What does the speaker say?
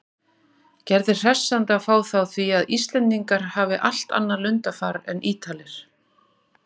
Gerði hressandi að fá þá því að Íslendingar hafi allt annað lundarfar en Ítalir.